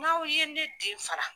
N'aw ye ne den fara